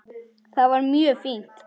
Það var mjög fínt.